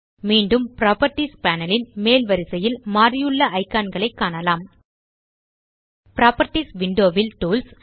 மீண்டும் properties panel ன் மேல் வரிசையில் மாறியுள்ள இக்கான் களை காணலாம் புராப்பர்ட்டீஸ் விண்டோ ல் டூல்ஸ்